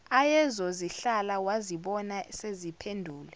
ayezozihlala wazibona seziphenduke